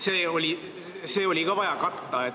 See samm oli ka vaja katta.